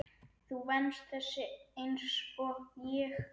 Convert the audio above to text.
Þú venst þessu einsog ég.